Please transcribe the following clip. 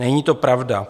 Není to pravda.